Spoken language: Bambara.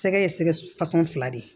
Sɛgɛ ye sɛgɛsɔn fila de ye